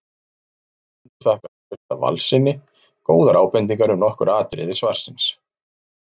Höfundur þakkar Trausta Valssyni góðar ábendingar um nokkur atriði svarsins.